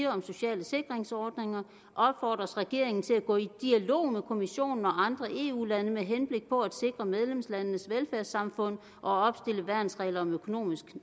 om sociale sikringsordninger opfordres regeringen til at gå i dialog med kommissionen og andre eu lande med henblik på at sikre medlemslandenes velfærdssamfund og opstille værnsregler om økonomisk